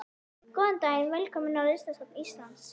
Góðan dag. Velkomin á Listasafn Íslands.